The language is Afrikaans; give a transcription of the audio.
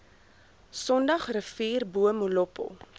sondagsrivier bo molopo